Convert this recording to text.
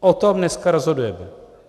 O tom dneska rozhodujeme.